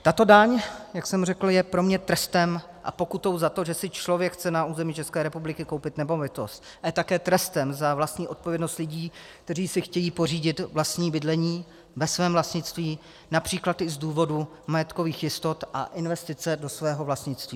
Tato daň, jak jsem řekl, je pro mě trestem a pokutou za to, že si člověk chce na území České republiky koupit nemovitost, ale také trestem za vlastní odpovědnost lidí, kteří si chtějí pořídit vlastní bydlení, ve svém vlastnictví, například i z důvodu majetkových jistot a investice do svého vlastnictví.